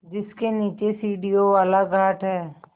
जिसके नीचे सीढ़ियों वाला घाट है